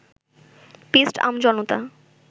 পিষ্ট আমজনতা